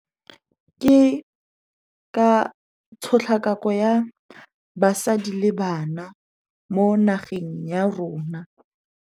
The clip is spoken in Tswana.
Ke ka tshotlakako ya basadi le bana mo nageng ya rona.